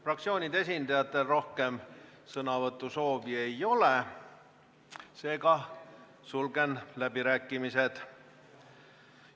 Fraktsioonide esindajatel rohkem sõnavõtusoove ei ole, seega sulgen läbirääkimised.